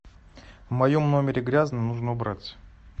в моем номере грязно нужно убраться